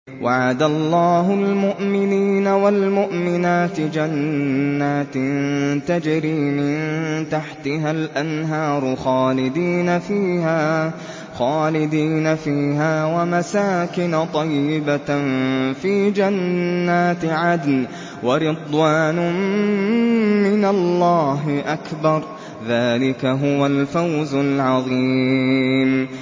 وَعَدَ اللَّهُ الْمُؤْمِنِينَ وَالْمُؤْمِنَاتِ جَنَّاتٍ تَجْرِي مِن تَحْتِهَا الْأَنْهَارُ خَالِدِينَ فِيهَا وَمَسَاكِنَ طَيِّبَةً فِي جَنَّاتِ عَدْنٍ ۚ وَرِضْوَانٌ مِّنَ اللَّهِ أَكْبَرُ ۚ ذَٰلِكَ هُوَ الْفَوْزُ الْعَظِيمُ